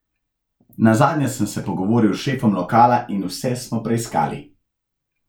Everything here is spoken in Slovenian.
Nazadnje sem se pogovoril s šefom lokala in vse smo preiskali.